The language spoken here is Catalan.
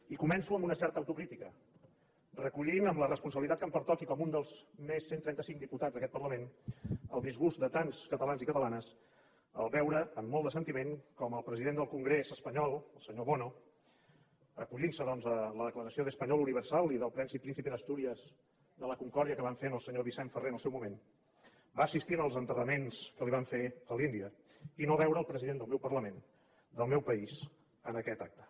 i començo amb una certa autocrítica recollint amb la responsabilitat que em pertoca i com un més dels cent i trenta cinc diputats d’aquest parlament el disgust de tants catalans i catalanes al veure amb molt de sentiment com el president del congrés espanyol el senyor bono acollintse doncs a la declaració d’ español universal i del premi príncipe de asturias de la concordia que van fer al senyor vicenç ferrer en el seu moment va assistir en els enterraments que li van fer a l’índia i no veure el president del meu parlament del meu país en aquest acte